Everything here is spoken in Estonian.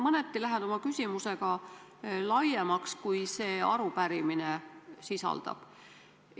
Ma lähen oma küsimuse teemaga mõneti laiemaks, kui see arupärimine sisaldab.